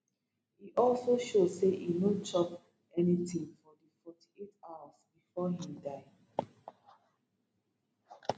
e also show say e no chop anytin for di 48 hours bifor im die